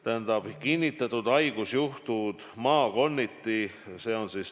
Tähendab, millised on kinnitatud haigusjuhud maakonniti?